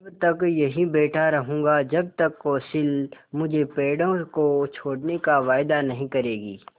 तब तक यहीं बैठा रहूँगा जब तक कौंसिल मुझे पेड़ों को छोड़ने का वायदा नहीं करेगी